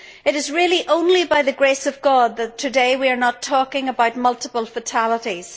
It is really only by the grace of God that today we are not talking about multiple fatalities.